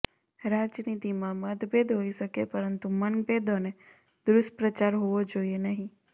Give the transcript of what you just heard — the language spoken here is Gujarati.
રાજનીતિમાં મતભેદ હોઇ શકે પરંતુ મનભેદ અને દુષ્પ્રચાર હોવો જોઇએ નહીં